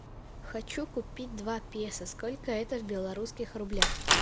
хочу купить два песо сколько это в белорусских рублях